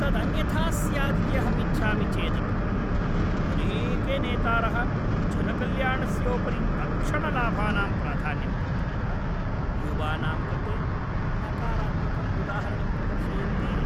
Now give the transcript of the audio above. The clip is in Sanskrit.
तदन्यथा स्यादिति अहम् इच्छामि चेदपि अनेके नेतारः जनकल्याणस्योपरि तत्क्षणलाभानां प्राधान्यं दत्त्वा युवानां कृते नकारात्मकम् उदाहरणं प्रदर्शयन्ति।